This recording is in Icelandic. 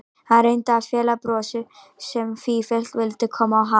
Hann reyndi að fela brosið sem sífellt vildi koma á hann.